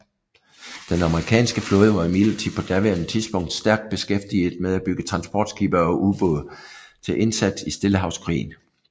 Den amerikanske flåde var imidlertid på daværende tidspunkt stærkt beskæftiget med at bygge transportskibe og ubåde til indsats i Stillehavskrigen